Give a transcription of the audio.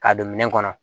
K'a don minɛn kɔnɔ